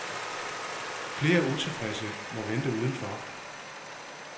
Flere utilfredse må vente udenfor.